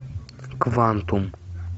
квантум